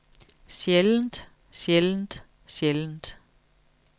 sjældent sjældent sjældent